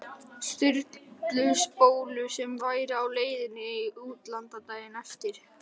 Sturlu spólu sem væri á leiðinni í útlán daginn eftir.